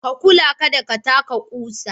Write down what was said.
Ka kula kada ka taka kusa.